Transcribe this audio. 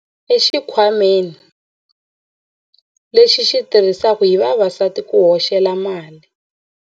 Khamba ri yivile xipaci xa yena exikhwameni lexi xi tirhisiwaka hi vavasati ku hoxela mali.